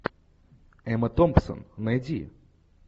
эмма томпсон найди